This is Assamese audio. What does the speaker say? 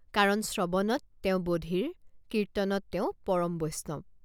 কাৰণ শ্ৰৱণত তেওঁ বধিৰ কীৰ্তনত তেওঁ পৰম বৈষ্ণৱ।